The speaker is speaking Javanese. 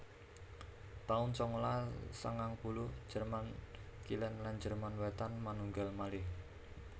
taun sangalas sangang puluh Jerman Kilèn lan Jerman Wétan manunggal malih